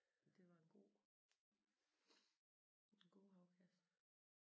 Og det var en god en god afkast